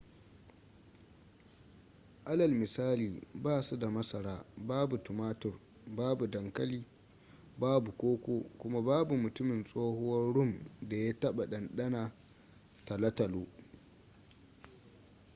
alal misali ba su da masara babu tumatur babu dankali babu koko kuma babu mutumin tsohuwar rum da ya taɓa ɗanɗana talotalo